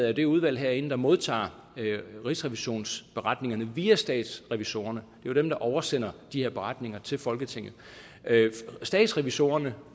er det udvalg herinde der modtager rigsrevisionens beretninger via statsrevisorerne det er dem der oversender de her beretninger til folketinget statsrevisorerne